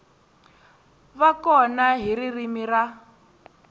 va kona hi ririmi ra